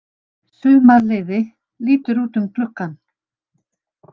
Sumarliði lítur út um gluggann.